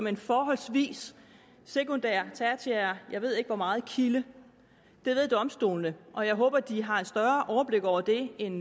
en forholdsvis sekundær tertiær jeg ved ikke hvor meget kilde det ved domstolene og jeg håber at de har et større overblik over det end